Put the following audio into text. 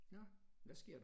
Nåh hvad sker der